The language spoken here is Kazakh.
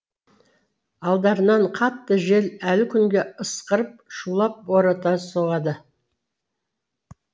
алдарынан қатты жел әлі күнге ысқырып шулап бората соғады